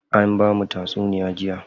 An bamu tatsunuya jiya.